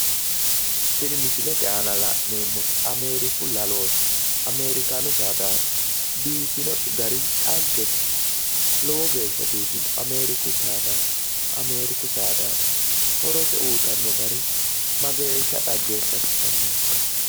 Tini misilete aana la'neemmori ameeriku lalooti. Ameerikaanu saadaati. Biifino gari dhaggete. Lowo geeshsha biifino. Ameeriku saadaati. Horose uyitanno gari mageeshsha dhageeffachishannohokka?